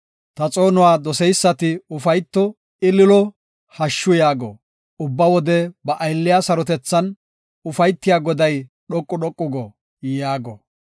Ta xoonuwa doseysati ufayto; ililo; hashshu yaago. “Ubba wode ba aylliya sarotethan, ufaytiya Goday dhoqu dhoqu go” yaago.